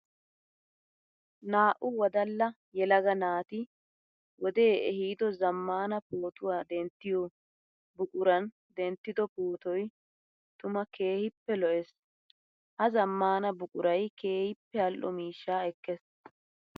Naa'u wodalla yelaga naati wode ehiido zamaana pootuwa denttiyo buquran denttiddo pootoy tuma keehippe lo'ees. Ha zamaana buquray keehippe ali'o miishsha ekees.